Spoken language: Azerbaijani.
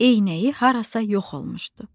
Eynəyi harasa yox olmuşdu.